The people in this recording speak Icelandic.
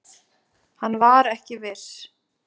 Hann var ekki viss.